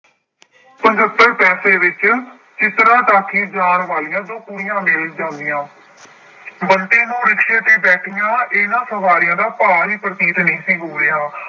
ਪਜੱਤਰ ਪੈਸੇ ਵਿੱਚ ਚਿਤਰਾ ਟਾਕੀ ਜਾਣ ਵਾਲੀਆਂ ਦੋ ਕੁੜੀਆਂ ਮਿਲ ਜਾਂਦੀਆਂ ਬੰਤੇ ਨੂੰ ਰਿਕਸ਼ੇ ਤੇ ਬੈਠੀਆਂ ਇਹਨਾਂ ਸਵਾਰੀਆਂ ਦਾ ਭਾਰ ਹੀ ਪ੍ਰਤੀਤ ਨਹੀਂ ਸੀ ਹੋ ਰਿਹਾ।